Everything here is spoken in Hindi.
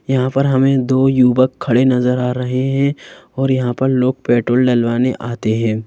यहाँ पर हमें दो युवक खड़े नजर आ रहे हैं और यहाँ पर लोग पेट्रोल डलवाने आते हैं।